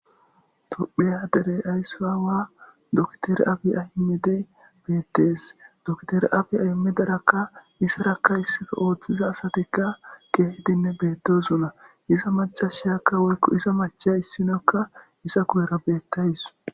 Tophiya dere ayso aawa Doktere Abi Ahimedey beettees. Dokteri Abi Aymedarakka izarakka issippe ooththiza asatikka keehedinne beettetes. Iza macashiyakka woykko iza macha issinakka iza guyera beettawus.